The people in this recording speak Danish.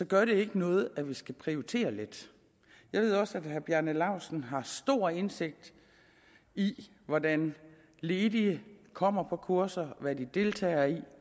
gør ikke noget at vi skal prioritere lidt jeg ved også at herre bjarne laustsen har stor indsigt i hvordan de ledige kommer på kurser og hvad de deltager i